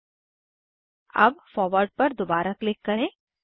अब forward forward पर दोबारा क्लिक करें